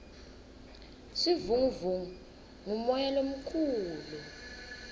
sivunguvungu ngumoya lomukhulu